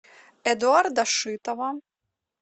эдуарда шитова